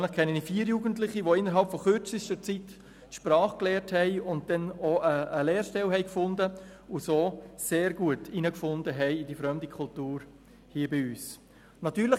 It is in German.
Persönlich kenne ich vier Jugendliche, die innerhalb von kürzester Zeit die Sprache erlernt und dann auch eine Lehrstelle gefunden und sich so sehr gut in der fremden Kultur hier bei uns eingefunden haben.